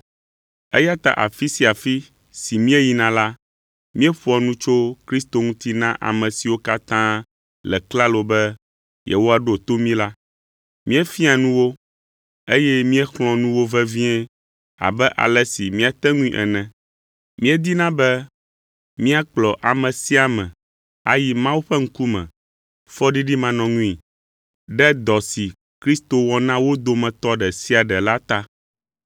Eya ta afi sia afi si míeyina la, míeƒoa nu tso Kristo ŋuti na ame siwo katã le klalo be yewoaɖo to mí la. Míefiaa nu wo, eye míexlɔ̃a nu wo vevie abe ale si míate ŋui ene. Míedina be míakplɔ ame sia ame ayi Mawu ƒe ŋkume fɔɖiɖimanɔŋui, ɖe dɔ si Kristo wɔ na wo dometɔ ɖe sia ɖe la ta.